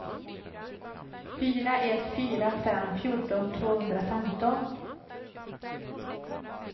fyra ett fyra fem fjorton tvåhundrafemton